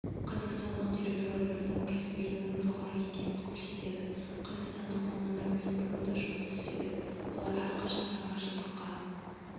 қазақстандық дирижерлердің кәсібилігінің жоғары екенін көрсетеді қазақстандық мамандармен бұрын да жұмыс істедік олар әрқашан жаңашылдыққа